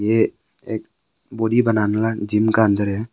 ये एक बॉडी बनाने वाले जिम का अंदर है।